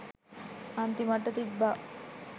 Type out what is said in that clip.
අන්තිමට තිබ්බා